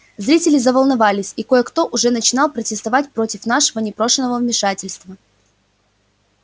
зрители заволновались и кое-кто уже начинал протестовать против такого непрошеного вмешательства